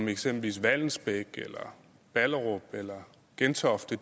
eksempel vallensbæk eller ballerup eller gentofte